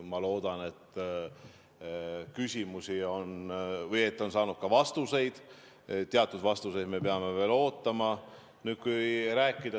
Ma loodan, et küsimused on saanud ka vastuseid, teatud vastuseid me peame veel ootama.